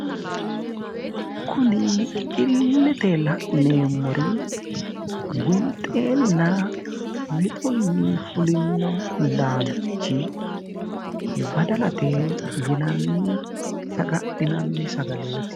Kunni illete la'neemori winxeenna wixunni fulino laalchi baddallate yinnanni sagga'linnanni saggaleeti.